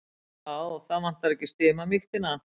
Já, það vantar ekki stimamýktina.